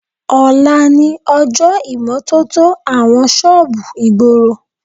Ọ̀la ni ọjọ́ ìmọ́tótó àwọn ṣọ́ọ̀bù ìgboro